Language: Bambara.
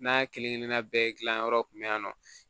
N'a kelenkelenna bɛɛ gilan yɔrɔ kun be yan nɔ